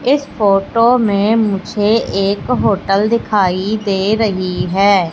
इस फोटो में मुझे एक होटल दिखाई दे रही है।